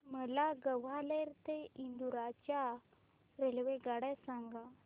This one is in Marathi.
मला ग्वाल्हेर ते इंदूर च्या रेल्वेगाड्या सांगा